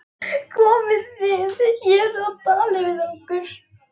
Komið þið hér og talið við okkur.